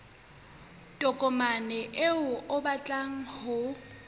tokomane eo o batlang ho